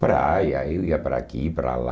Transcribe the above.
Praia, eu ia para aqui, para lá.